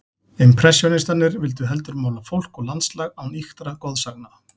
Impressjónistarnir vildu heldur mála fólk og landslag án ýktra goðsagna.